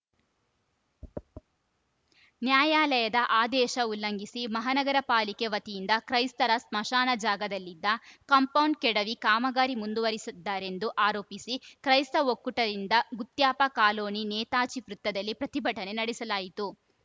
ನ್ಯಾಯಾಲಯದ ಆದೇಶ ಉಲ್ಲಂಘಿಸಿ ಮಹಾನಗರ ಪಾಲಿಕೆ ವತಿಯಿಂದ ಕ್ರೈಸ್ತರ ಸ್ಮಶಾನ ಜಾಗದಲ್ಲಿದ್ದ ಕಾಂಪೌಂಡ್‌ ಕೆಡವಿ ಕಾಮಗಾರಿ ಮುಂದುವರಿಸಿದ್ದಾರೆಂದು ಆರೋಪಿಸಿ ಕ್ರೈಸ್ತ ಒಕ್ಕೂಟದಿಂದ ಗುತ್ಯಪ್ಪ ಕಾಲೋನಿ ನೇತಾಜಿ ವೃತ್ತದಲ್ಲಿ ಪ್ರತಿಭಟನೆ ನಡೆಸಲಾಯಿತು